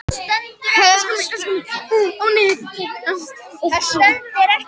Helstu starfssvið hennar eru á sviði stjórnmála, öryggismála, utanríkisviðskipta og menningarmála.